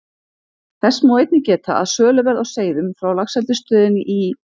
Þess má einnig geta, að söluverð á seiðum frá Laxeldisstöðinni í